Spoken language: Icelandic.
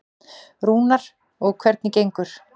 Rúnar: Og hvernig gengur?